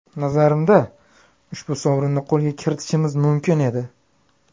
Nazarimda, ushbu sovrinni qo‘lga kiritishimiz mumkin edi.